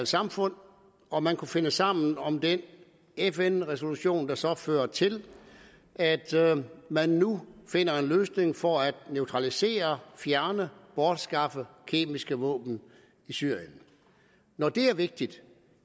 samfund og man kunne finde sammen om den fn resolution der så fører til at man nu finder en løsning for at neutralisere fjerne bortskaffe kemiske våben i syrien når det er vigtigt